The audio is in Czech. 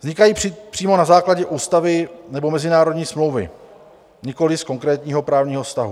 Vznikají přímo na základě ústavy nebo mezinárodní smlouvy, nikoliv z konkrétního právního vztahu.